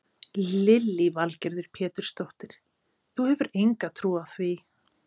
Lillý Valgerður Pétursdóttir: Þú hefur enga trú á því?